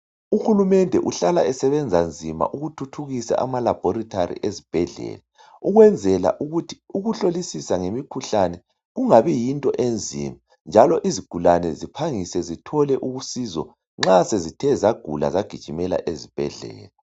UHulumende uhlala esebenza nzima ukuthuthukisa amalabhorithari ezibhedlela ukwenzela ukuthi ukuhlolisisa ngemikhuhlane kungabi yinto enzima njalo izigulane ziphangise zithole usizo nxa sezithe zagula zagijimela ezibhedlela.